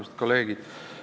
Armsad kolleegid!